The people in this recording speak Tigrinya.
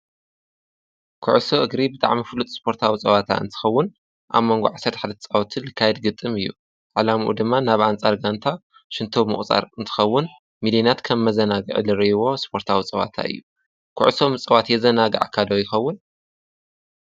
ክዕሱ እግሪብደዕሚ ፍሉጥ ስጶርይኸውንጸዋታ እንትኸውን ኣብ መንጓዕሰት ሓደጻወትን ካይድግጥም እዩ ዓላምኡ ድማ ናብ ኣንፃርጋእንታ ሽንቶ ምቝጻር እንትኸውን ሚልናት ከም መዘናግ ዕሊርይዎ ስጶርታኣዊጸዋታ እዩ ክዕሶ ምጸዋት የዘናግ ኣካዶ ይኸውን።